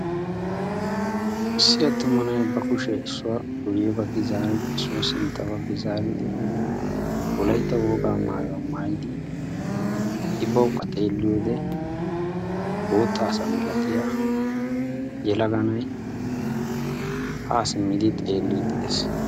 Issi attuma na'ay ba kushe issuwa guye baggi zaaridi issuwa sintta baggi zaaridi wolaytta wogaa maayuwa maayidi I bawukka xeelliyode bootta asa malatiya yelaga na'ay ha simmidi xeeliiddi de'ees.